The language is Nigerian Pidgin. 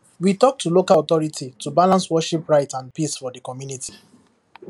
we talk to local authority to balance worship right and peace for the community